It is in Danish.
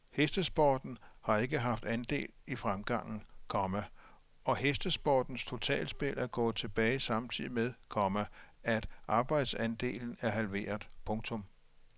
Hestesporten har ikke haft andel i fremgangen, komma og hestesportens totalspil er gået tilbage samtidig med, komma at markedsandelen er halveret. punktum